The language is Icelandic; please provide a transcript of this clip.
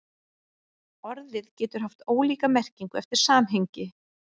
Orðið getur haft ólíka merkingu eftir samhengi.